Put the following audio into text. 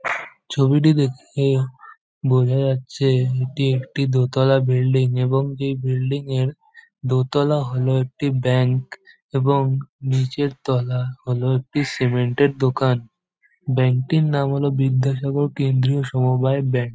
ছবিটি দেখে বোঝা যাচ্ছে এটি একটি দোতলা বিল্ডিং এবং এই বিল্ডিং এর দো তালা হল একটি ব্যাংক। এবং নিচের তলা হল একটি সিমেন্ট - এর দোকান। ব্যাংক টির নাম হল বিদ্যাসাগর কেন্দ্রীয় সমবায় ব্যাংক।